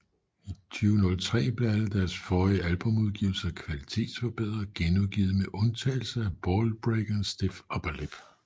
I 2003 blev alle deres forrige albumudgivelser kvalitetsforbedret og genudgivet med undtagelse af Ballbreaker og Stiff Upper Lip